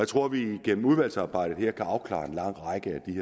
tror at vi gennem udvalgsarbejdet her kan afklare en lang række